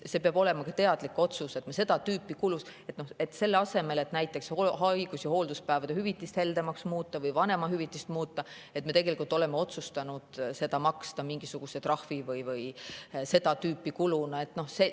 See peabki olema teadlik otsus: me oleme selle asemel, et näiteks haigus- ja hoolduspäevade hüvitist heldemaks muuta või vanemahüvitist muuta, otsustanud maksta mingisugust trahvi või teha seda tüüpi kulutusi.